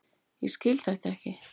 Ég skil þetta ekki!